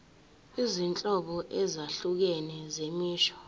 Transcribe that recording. izinhlobo ezahlukene zemisho